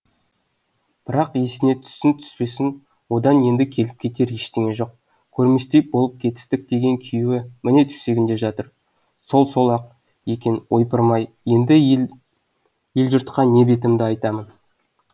бірақ есіне түссін түспесін одан енді келіп кетер ештеңе жоқ көрместей болып кетістік деген күйеуі міне төсегінде жатыр сол сол ақ екен ойпырмай енді ел жұртқа не бетімді айтамын